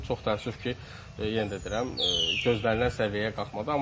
Çox təəssüf ki, yenə də deyirəm, gözlənilən səviyyəyə qalxmadı.